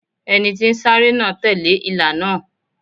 Ẹni tí ń sáré náà tẹ̀lé ìlà náà.